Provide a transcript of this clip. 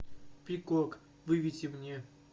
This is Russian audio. пикок выведи мне